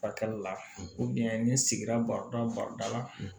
Fakɛli la ni sigira barida badala